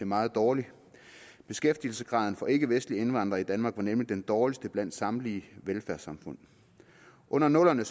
meget dårlig beskæftigelsesgraden for ikkevestlige indvandrere i danmark var nemlig den dårligste blandt samtlige velfærdssamfund under nullerne